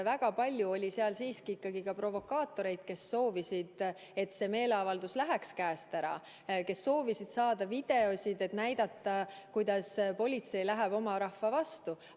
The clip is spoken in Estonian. Väga palju oli seal siiski ka provokaatoreid, kes soovisid, et see meeleavaldus läheks käest ära, kes soovisid saada videoid, et näidata, kuidas politsei läheb oma rahva vastu.